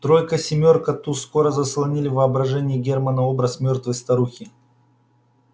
тройка семёрка туз скоро заслонили в воображении германна образ мёртвой старухи